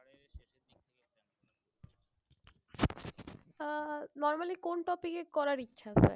আহ normally কোন topic এ করার ইচ্ছা ?